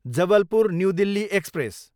Jabalpur, New Delhi express